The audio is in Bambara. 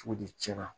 Cogodi cɛn na